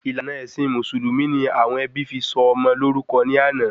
Ìlànà èsìn mùsùlùmí ni àwọn ẹbí fi sọ ọmọ lórúkọ in ana